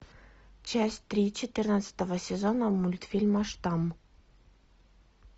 часть три четырнадцатого сезона мультфильма штамм